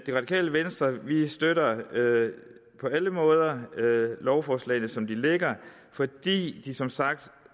det radikale venstre støtter på alle måder lovforslagene som de ligger fordi de som sagt